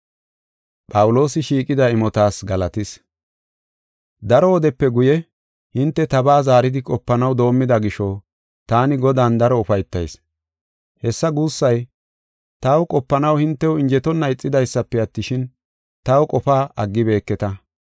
Daro wodepe guye, hinte tabaa zaaridi qopanaw doomida gisho taani Godan daro ufaytayis. Hessa guussay, taw qopanaw hintew injetonna ixidaysafe attishin, taw qofaa aggibeketa.